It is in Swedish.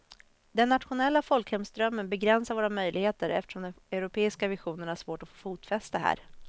Den nationella folkhemsdrömmen begränsar våra möjligheter eftersom den europeiska visionen har svårt att få fotfäste här.